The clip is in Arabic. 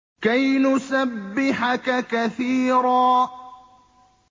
كَيْ نُسَبِّحَكَ كَثِيرًا